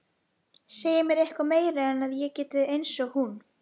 Segja mér eitthvað meira en að ég sé einsog hún.